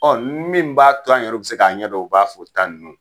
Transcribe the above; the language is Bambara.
min b'a to an yɔr'u bɛ se k'a ɲɛdɔn u b'a fo tan ninnu